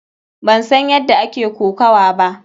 Ban san yadda ake kokuwa ba.